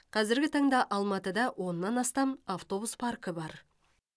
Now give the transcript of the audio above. қазіргі таңда алматыда оннан астам автобус паркі бар